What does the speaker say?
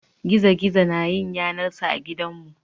Gizo-gizo na yin yanar sa a gidanmu.